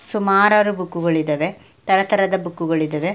ಸುಮಾರಾರು book ಗಳಿದ್ದವೇ ತರ ತರದ ಬುಕ್ ಗಳು ಇದ್ದವೇ .